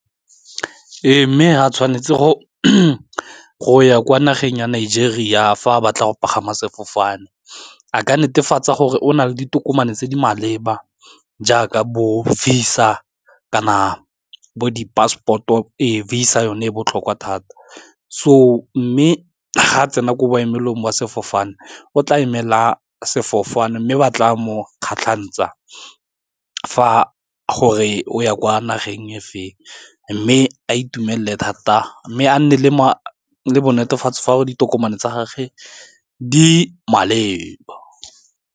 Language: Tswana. E mme ga tshwanetse go go ya kwa nageng ya Nigeria fa a batla go pagama sefofane a ka netefatsa gore o na le ditokomane tse di maleba jaaka bo visa-a kana bo di-passport-o e visa yone e botlhokwa thata, so mme ga tsena ko boemelong jwa sefofane o tla emela sefofane mme ba tla mo kgatlhantsa fa gore o ya kwa nageng efeng, mme a itumelele thata mme a nne le netefatsa gore ditokomane tsa gage di maleba.